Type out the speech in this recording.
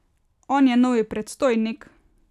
On je novi predstojnik.